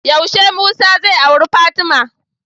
Yaushe musa zai auri fatima?